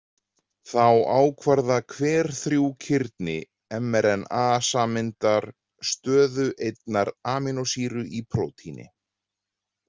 Þá ákvarða hver þrjú kirni mRNA-sameindar stöðu einnar amínósýru í prótíni.